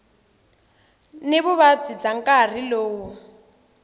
ni vuvabyi bya nkarhi lowo